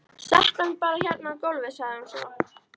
Settu hann bara hérna á gólfið, sagði hún svo.